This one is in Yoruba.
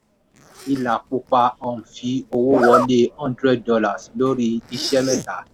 ìlà pupa um fi owó wọlé hundred dollars lórí iṣẹ́ mẹ́ta.